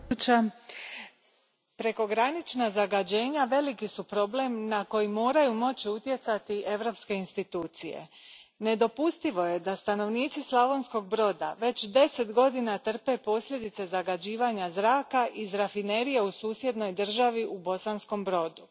Poštovana predsjedavajuća, prekogranična zagađenja veliki su problem na koji moraju moći utjecati europske institucije. Nedopustivo je da stanovnici Slavonskog Broda već deset godina trpe posljedice zagađivanja zraka iz rafinerije u susjednoj državi u Bosanskom Brodu.